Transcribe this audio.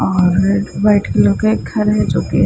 और एक white colour का घर है जो की --